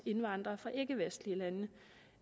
indvandrere fra ikkevestlige lande